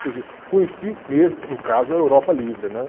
Quer dizer, conheci mesmo, no caso, a Europa livre, né?